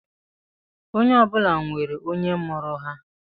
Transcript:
Onye ọbụla nwere onye mụrụ ha